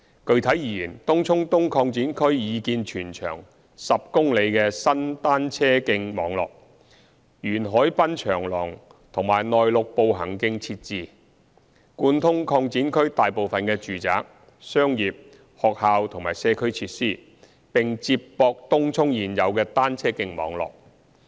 具體而言，東涌東擴展區擬建全長10公里的新單車徑網絡，沿海濱長廊和內陸步行徑設置，貫通擴展區大部分的住宅、商業、學校及社區設施，並接駁東涌現有的單車徑網絡。